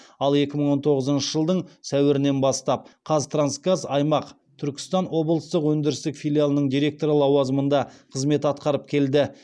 ал екң мың он тоғызыншы жылдың сәуірінен бастап қазтрансгаз аймақ түркістан облыстық өндірістік филиалының директоры лауазымында қызмет атқарып келді